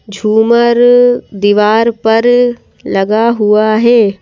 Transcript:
झूमर दीवार पर लगा हुआ है।